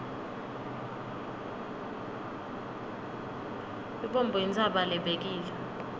lubombo intsaba lebekile